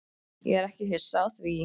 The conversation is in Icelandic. Ég er ekki hissa á því.